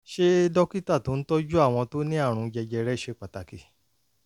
se dokita to n toju awon to ni aarun jejere se pataki?